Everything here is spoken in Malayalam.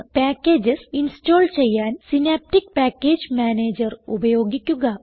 പാക്കേജസ് ഇൻസ്റ്റാൾ ചെയ്യാൻ സിനാപ്റ്റിക് പാക്കേജ് മാനേജർ ഉപയോഗിക്കുക